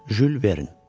Jül Vern.